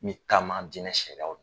N bɛ taama dinɛ sariyaw